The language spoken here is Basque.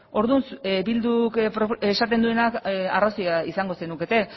orduan bilduk esaten duena arrazoia izango zenukete